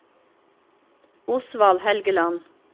Osvald Helgeland